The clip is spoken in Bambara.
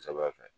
Kosɛbɛ